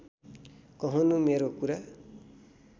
कहनू मेरो कुरा